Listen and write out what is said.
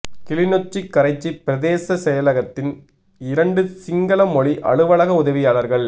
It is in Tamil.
கிளிநொச்சி கரைச்சி பிரதேச செயலகத்தில் இரண்டு சிங்கள மொழி அலுவலக உதவியாளா்கள்